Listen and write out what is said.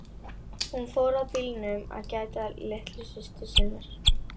Hún fór að bílnum að gæta að litlu systur.